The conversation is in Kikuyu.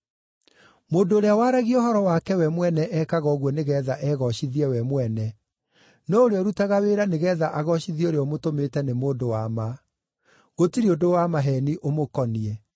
Mũndũ ũrĩa waragia ũhoro wake we mwene eekaga ũguo nĩgeetha egoocithie we mwene, no ũrĩa ũrutaga wĩra nĩgeetha agoocithie ũrĩa ũmũtũmĩte nĩ mũndũ wa ma; gũtirĩ ũndũ wa maheeni ũmũkoniĩ.